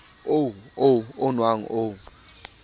oo o o nwang o